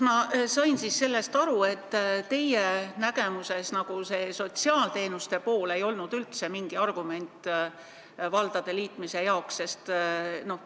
Ma sain sellest aru nii, et teie arvates sotsiaalteenuste valdkond ei olnud valdade liitmisel üldse mingi argument.